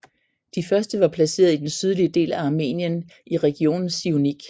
De første var placeret i den sydlige del af Armenien i regionen Siunik